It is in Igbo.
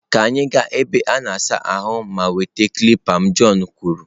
Ka anyị gaa na ebe a na-asa ahụ ma nweta kilipa m john kwuru.